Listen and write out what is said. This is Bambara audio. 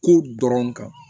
Ko dɔrɔn kan